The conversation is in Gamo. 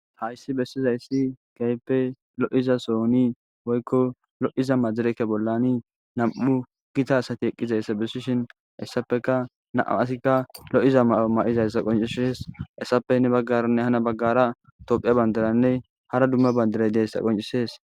hayssi bessizayssi gayppe lo7iza sooni woykko lo7iza majirekke bollani nam7u gita asati eqqizayssa bessishin hessapeka naa asikka lo7iza m ma7izayssa qoncishes hessapene baggaranne hana baggara tophiya bandaranne hara dumma bandiray deessa qoncisees